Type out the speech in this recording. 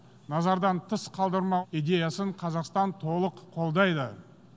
назардан тыс қалдырмау идеясын қазақстан толық қолдайды